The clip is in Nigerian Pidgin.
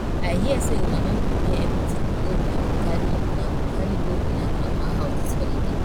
i hear say una don prepare everything wey una go carry una go carry go una grandma house dis holiday